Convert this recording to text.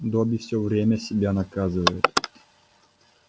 добби все время себя наказывает